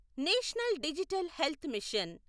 national digital health machine